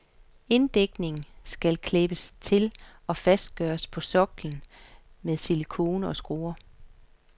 Inddækningen skal klæbes til og fastgøres på soklen med silicone og skruer.